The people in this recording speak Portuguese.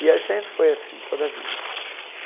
E sempre foi assim, toda a vida.